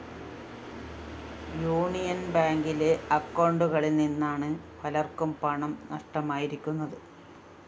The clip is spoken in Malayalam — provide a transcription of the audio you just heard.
യൂണിയൻ ബാങ്കിലെ അക്കൗണ്ടുകളില്‍ നിന്നാണ് പലര്‍ക്കും പണം നഷ്ടമായിരിക്കുന്നത്